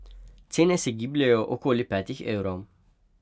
Cene se gibljejo okoli petih evrov.